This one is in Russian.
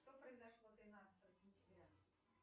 что произошло тринадцатого сентября